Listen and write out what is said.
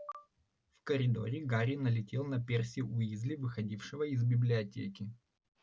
в коридоре гарри налетел на перси уизли выходившего из библиотеки